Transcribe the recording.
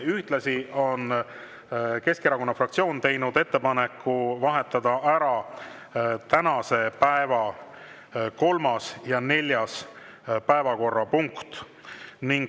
Ühtlasi on Keskerakonna fraktsioon teinud ettepaneku vahetada ära tänase päeva kolmas ja neljas päevakorrapunkt.